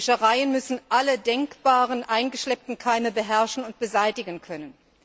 Die Wäschereien müssen alle denkbaren eingeschleppten Keime beherrschen und beseitigen können.